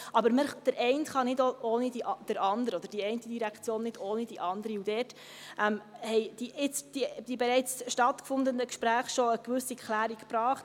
Aber die eine Direktion kann nicht ohne andere, und dort haben jetzt die bereits stattgefundenen Gespräche schon eine gewisse Klärung gebracht.